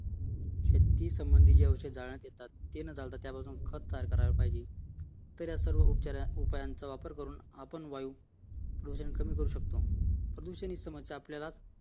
शेती संबंधी जे अवशेष जाण्यात येतात ते न जाता त्याच्यापासून खत तयार करायला पाहिजे तर या साऱ्या उपायांचा वापर करून आपण वायू प्रदूषण कमी करू शकतो प्रदूषण ही समस्या आपल्याला